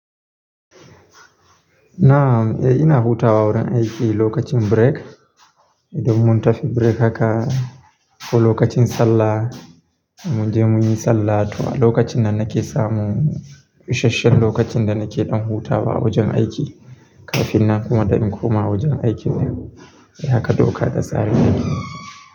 Na'am, eh ina hutawa wurin aiki lokacin break. Idan mun tafi break haka ko lokacin sallah, mu je muyi sallah to a lokacin nan nake samun isashen lokacin da nake ɗan hutawa a wajen aiki kafin na kuma ɗin komawa wajen aikin nan. Eh haka doka ta sani.